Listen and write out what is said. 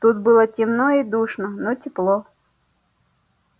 тут было темно и душно но тепло